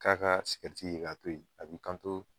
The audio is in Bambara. K'a ka sigɛriti ye k'a to ye, a b'i kanto